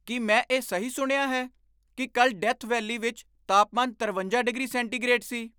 ਕੀ ਮੈਂ ਇਹ ਸਹੀ ਸੁਣਿਆ ਹੈ ਕੀ ਕੱਲ੍ਹ ਡੈਥ ਵੈਲੀ ਵਿੱਚ ਤਾਪਮਾਨ ਤਰਵੰਜਾ ਡਿਗਰੀ ਸੈਂਟੀਗ੍ਰੇਡ ਸੀ?